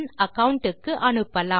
account க்கு அனுப்பலாம்